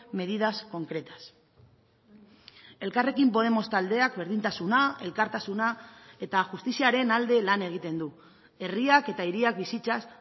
medidas concretas elkarrekin podemos taldeak berdintasuna elkartasuna eta justiziaren alde lan egiten du herriak eta hiriak bizitzaz